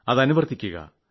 അത് അനുവർത്തിക്കുക